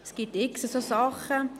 Es gibt x solche Dinge.